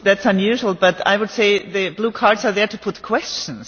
That is unusual, but I would say that the blue cards are there to put questions.